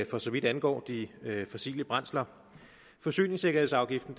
for så vidt angår de fossile brændsler forsyningssikkerhedsafgiften